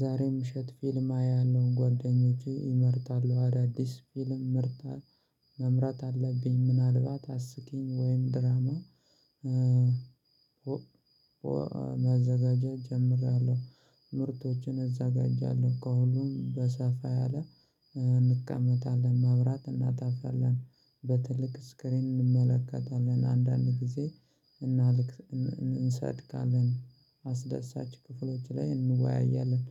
ዛሬ ምሸት ፊልም አያለሁ ጓደኞቼ እመርጣለሁ አዳዲስ ፊልም ምርጫ መምራጥ አለብኝ ምናልባት አስቂኝ ወይም ድራማ መዘጋጃ እጀምራለሁ። ምርቶችን አዘጋጃለሁ እኮ ሁሉም በሰፋት ያለ እንቀመጣለን ማብራት እናጣፋለን በትልቅ ስክሪን እንመለከታለን አንዳንድ ጊዜ እንሰድካለን አስደሳች ክፍሎች ላይ እንወያያለን።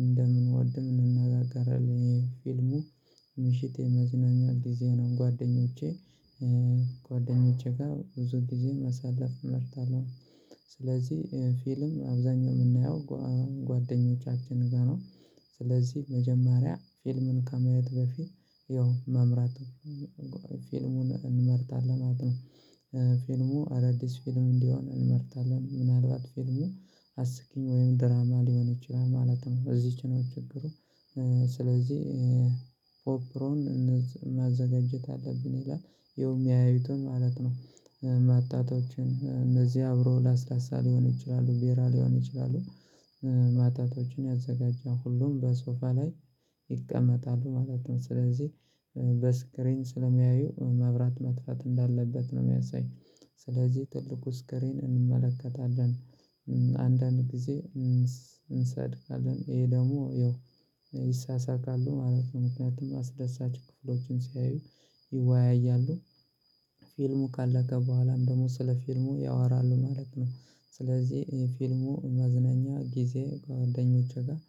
እንደምንወድም እንናጋጋራለን ፊልሙ ምሽት የመዝናኛ ጊዜ ነው ጓደኞቼ። ጓደኞቼ ጋር ብዙ ጊዜ መሰለፍ እመጣታለሁ ስለዚህ ፊልም አብዛኛው የምናየው ጓደኞቻችን ጋር ነው። ስለዚህ መጀመሪያ ፊልምን ከማየት በፊት ያው መምራት ፊልሙን እንመጣታለን ማለት ነው። ፊልሙ አዳዲስ ፊልም እንዲሆን እንመጣታለን ምናልባት አስቂኝ ወይም ድራማ ሊሆን ይችላል ማለት ነው። እዚች ነው ችግሩ። ስለዚህ ኦፕሮን ማዘጋጀት አለብን ይላል ይኸውም ያዩትን ማለት ነው። እነዚህ አብሮ ለስላሳ ሊሆን ይችላሉ ቢራ ሊሆን ይችላሉ። ማጣታችን ያዘጋጃል ሁሉም በሶፋ ላይ ይቀመጣሉ ማለት ነው። ስለዚህ በስክሪን ስለሚያየው መብራት መጥፋት እንዳለበት ነው የሚያሳይ ስለዚህ ትልቁ ስክሬን እንመለከታለን። አንዳንድ ጊዜ እንሳቀቃለን ይሄ ደግሞ ይሄው ይሳሳቃሉ ማለት ነው ምክንያቱም አስደሳች ክፍሎችን ሲያዩ ይወያያሉ። ፊልሙ ካለቀ በኋላም ደግሞ ስለ ፊልሙ ያወራሉ ማለት ነው። ስለዚህ ፊልሙ መዝናኛ ጊዜ ከጓደኞቼ ጋር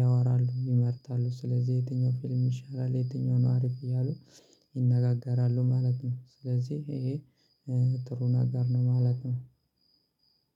ያወራሉ ይመርጣሉ ስለዚህ የትኛው ፊልም ይሻላል የትኛው ነው አሪፍ እያሉ ይነጋገራሉ ማለት ነው። ስለዚህ ይሄ ጥሩን ነገር ነው ማለት ነው።